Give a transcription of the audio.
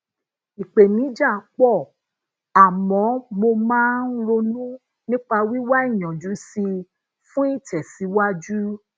ipèníjà po àmó mo máa ń ronú nípa wiwa iyanjú si i fun itèsíwájú